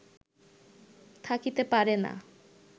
থাকিতে পারে না